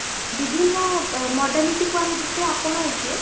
ବିଭିନ୍ନ modernity କୁ ଆମେ ଯେତେ ଆପଣାଉଛେ